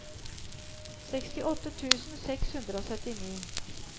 sekstiåtte tusen seks hundre og syttini